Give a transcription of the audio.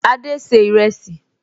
Adé ṣe ìrẹsì